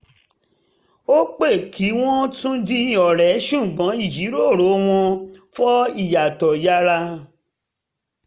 ó pẹ́ kí wọ́n tún di ọ̀rẹ́ ṣùgbọ́n ìjíròrò um wọn fọ ìyàtọ̀ yára